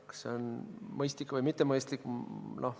Kas see on mõistlik või mitte?